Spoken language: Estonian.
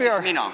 Näiteks mina.